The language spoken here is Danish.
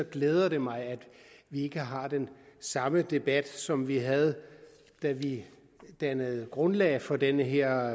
glæder det mig at vi ikke har den samme debat som vi havde da vi dannede grundlag for den her